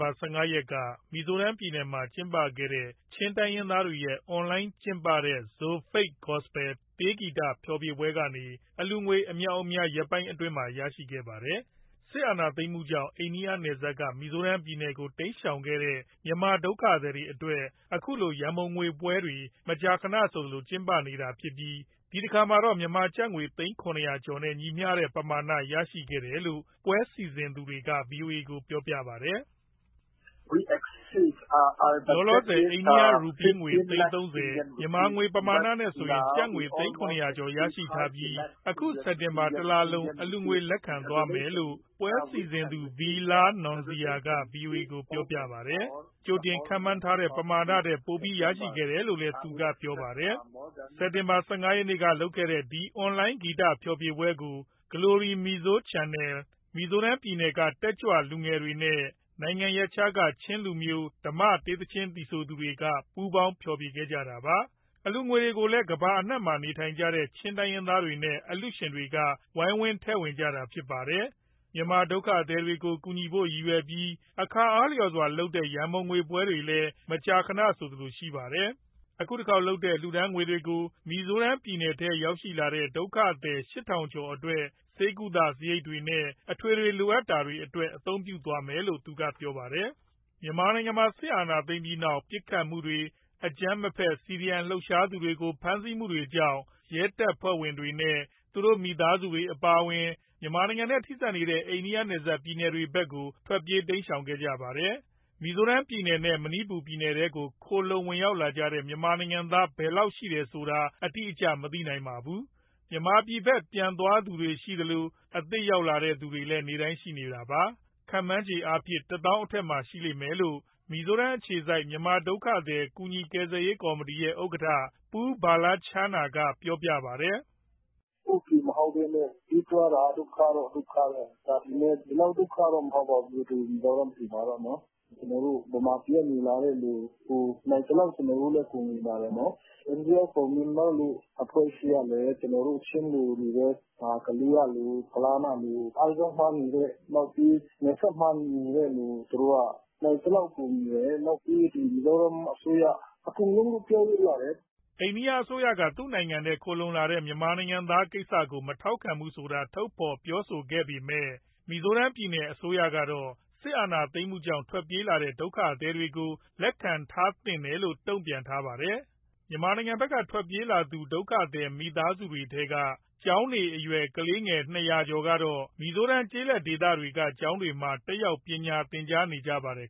ဘာ ၁၅ ရက်က မီဇိုရမ်ပြည်နယ်မှာ ကျင်းပခဲ့တဲ့ ချင်းတိုင်းရင်းသားတွေရဲ့ အွန်လိုင်းကျင်းပတဲ့ ZOFATE GOSPEL တေးဂီတဖျော်ဖြေပွဲကနေ အလှူငွေ အမြောက်အများ ရက်ပိုင်းအတွင်းမှာ ရရှိခဲ့ပါတယ်။ စစ်အာဏာသိမ်းမှုကြောင့် အိန္ဒိယနယ်စပ်က မီဇိုရမ်ပြည်နယ်ကို တိမ်းရှောင်ခဲ့တဲ့ မြန်မာဒုက္ခသည်တွေအတွက် အခုလို ရံပုံငွေပွဲတွေ မကြာခဏဆိုသလို ကျင်းပနေတာဖြစ်ပြီး ဒီတခါမှာတော့ မြန်မာကျပ်ငွေ သိန်း ၇၀၀ ကျော်နဲ့ ညီမျှတဲ့ ပမာဏ ရရှိခဲ့တယ်လို့ ပွဲစီစဉ်သူတွေက ဗွီအိုအေကို ပြောပါတယ်။ လောလောဆယ် အိန္ဒိယရူးပီးငွေ သိန်း ၃၀၊ မြန်မာငွေ ပမာဏနဲ့ဆိုရင် ကျပ်ငွေ သိန်း ၇၄၀ ကျော် ( ၇၄, ၀၀၀, ၀၀၀) ရထားပြီး အခု စက်တင်ဘာတလလုံး အလှူငွေလက်ခံသွားမယ်လို့ ပွဲစီစဉ်သူ V Lalnunzira က ဗွီအိုအေကို ပြောခဲ့တာပါ။ ကြိုတင်ခန့်မှန်းထားတဲ့ ပမာထက်ပိုပြီး ရခဲ့တယ်လို့လည်း သူကပြောပါတယ်။ စက်တင်ဘာ ၁၅ ရက်က လုပ်ခဲ့တဲ့ ဒီအွန်လိုင်း ဂီတဖျော်ဖြေပွဲကို Glory Mizo Channel ၊ မီဇိုရမ် ပြည်နယ်က တက်ကြွလူငယ်တွေနဲ့ နိုင်ငံရပ်ခြားက ချင်းလူမျိုး ဓမ္မတေးသီချင်းသီဆိုသူတွေက ပူးပေါင်း ဖျော်ဖြေခဲ့တာပါ။ အလှူငွေတွေကိုလည်း ကမ္ဘာ့နိုင်ငံအနှံ့မှာရှိကြတဲ့ ချင်းတိုင်းရင်းသားတွေနဲ့ အလှူရှင်တွေက ဝိုင်းဝန်းထည့်ဝင်ကြတာဖြစ်ပါတယ်။ မြန်မာဒုက္ခသည်တွေကို ကူညီဖို့ရည်ရွယ်ပြီး အခါအားလျှော်စွာလုပ်တဲ့ ရံပုံငွေပွဲတွေလည်း မကြာခဏဆိုသလို ရှိပါတယ်။ အခုတခေါက်လုပ်တဲ့ လှူဒါန်းငွေတွေကို မီဇိုရမ်ပြည်နယ်ထဲရောက်လာတဲ့ ဒုက္ခသည် ၈, ၀၀၀ ကျော်အတွက် ဆေးကုသစရိတ်တွေနဲ့ အထွေထွေလိုအပ်တာတွေအတွက် အသုံးပြုသွားမယ်လို့ သူကပြောပါတယ်။ မြန်မာနိုင်ငံမှာ စစ်အာဏာသိမ်းပြီးနောက် ပစ်ခတ်မှုတွေ၊ အကြမ်းမဖက် CDM လှုပ်ရှားသူတွေကို ဖမ်းဆီးမှုတွေကြောင့် ရဲတပ်ဖွဲ့ဝင်နဲ့သူတို့ မိသားစုတွေအပါအဝင် မြန်မာနိုင်ငံနဲ့ ထိဆက်နေတဲ့ အိန္ဒိယနယ်စပ်ပြည်နယ်တွေဘက်ကို ထွက်ပြေးတိမ်းရှောင်ခဲ့ကြပါတယ်။ မီဇိုရမ်ပြည်နယ်နဲ့ မဏိပူပြည်နယ်ထဲကို ခိုလှုံရောက်ရှိလာတဲ့ မြန်မာနိုင်ငံသား ဘယ်လောက်ရှိတယ်ဆိုတာ အတိအကျမသိနိုင်ပါဘူး။ မြန်မာပြည်ဘက် ပြန်သွားသူတွေရှိသလို အသစ်ရောက်လာတဲ့သူတွေလည်း နေ့တိုင်းရှိနေတာပါ။ ခန့်မှန်းခြေအားဖြင့်တော့ ၁၀, ၀၀၀ အထက်မှာ ရှိလိမ့်မယ်လို့ မီဇိုရမ်အခြေစိုက် မြန်မာဒုက္ခသည် ကူညီကယ်ဆယ်ရေး ကော်မတီရဲ့ ဥက္ကဋ္ဌ Pu Vanlalchhana က ပြောပါတယ်။ “ ကိုယ့်ပြည်မဟုတ်ဘဲနဲ့ ပြေးရတာ ဒုက္ခတော့ ဒုက္ခပဲ။ ဒါပေမဲ့ ဒီလောက်ဒုက္ခတော့ မဟုတ်ပါဘူး၊ ဒီမီဇိုရမ်ပြည်မှာတော့။ ကျနော်တို့ ဗမာပြည်က လာတဲ့သူကို နိုင်သလောက် ကူညီပါတယ်။ India for Myanmar လို အဖွဲ့အစည်းကလည်း ကျနော်တို့ ချင်း၊ ကလေးကလူ၊ ဖလမ်းကလူ၊ အိုက်ဇောမှာနေတဲ့ နောက်ပြီး နယ်စပ်မှာနေတဲ့သူ သူတို့က နိုင်သလောက်ကူညီတယ်၊ နောက်ပြီး ဒီမီဇိုရမ်အစိုးရ၊ အကုန်လုံးလို့ ပြောလို့ရတယ်။” အိန္ဒိယအစိုးရက သူ့နိုင်ငံထဲ ခိုလှုံရောက်လာတဲ့ မြန်မာနိုင်ငံသားတွေကိစ္စကို မထောက်ခံဘူးဆိုတာ ထုတ်ဖော်ပြောဆိုခဲ့ပေမဲ့ မီဇိုရမ်ပြည်နယ်အစိုးရတော့ စစ်အာဏာသိမ်းမှုကြောင့် ထွက်ပြေးလာတဲ့ ဒုက္ခသည်တွေကို လက်ခံထားသင့်တယ်လို့ တုံ့ပြန်ထားတာပါ။ မြန်မာနိုင်ငံဘက်က ထွက်ပြေးလာကြသူ ဒုက္ခသည်မိသားစုတွေထဲက ကျောင်းနေအရွယ် ၂၀၀ ကျော်ကတော့ မီဇိုရမ်ကျေးလက်ဒေသဘက်က ကျောင်းတွေမှာ တက်ရောက်ပညာသင်ကြားနေကြပါတယ်